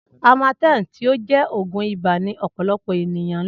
Amatem ti o jẹ òògùn ibà ni ọ̀pọ̀lọpọ̀ ènìyàn ńlò